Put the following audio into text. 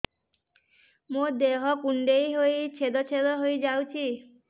ମୋ ଦେହ କୁଣ୍ଡେଇ ହେଇ ଛେଦ ଛେଦ ହେଇ ଯାଉଛି